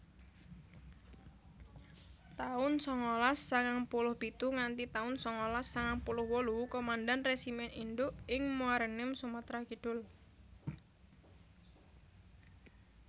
taun sangalas sangang puluh pitu nganti taun sangalas sangang puluh wolu Komandan Resimen Induk ing Muaraenim Sumatra Kidul